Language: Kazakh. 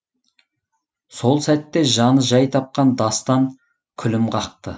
сол сәтте жаны жай тапқан дастан күлім қақты